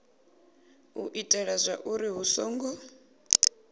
u itela zwauri hu songo